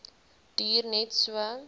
duur net so